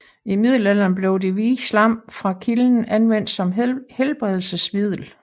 I middelalderen blev det hvide slam fra kilden anvendt som helbredelsesmiddel